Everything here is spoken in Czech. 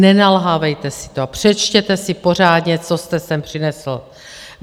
Nenalhávejte si to a přečtěte si pořádně, co jste sem přinesl!